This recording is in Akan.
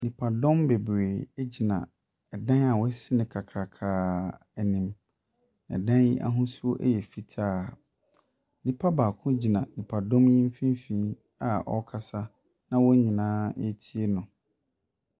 Nnipadɔm bebree egyina ɛdan a wɔasi no kakrakaa anim. Ɛdan yi ahosuo ɛyɛ fitaa. Nnipa baako gyina nnipadɔm yi mfimfinn a ɔrekasa na wɔn nyinaa ɛretie no.